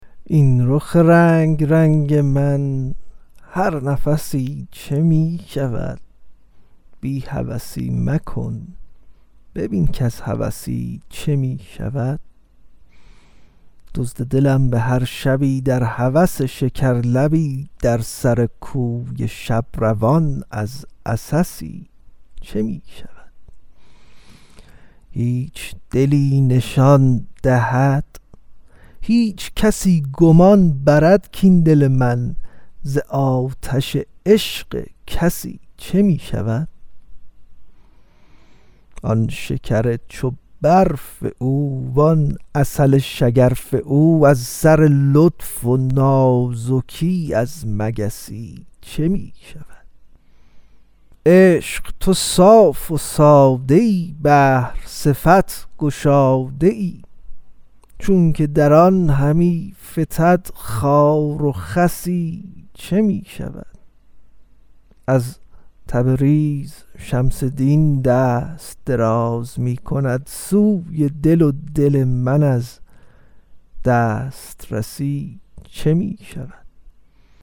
این رخ رنگ رنگ من هر نفسی چه می شود بی هوسی مکن ببین کز هوسی چه می شود دزد دلم به هر شبی در هوس شکرلبی در سر کوی شب روان از عسسی چه می شود هیچ دلی نشان دهد هیچ کسی گمان برد کاین دل من ز آتش عشق کسی چه می شود آن شکر چو برف او وان عسل شگرف او از سر لطف و نازکی از مگسی چه می شود عشق تو صاف و ساده ای بحر صفت گشاده ای چونک در آن همی فتد خار و خسی چه می شود از تبریز شمس دین دست دراز می کند سوی دل و دل من از دسترسی چه می شود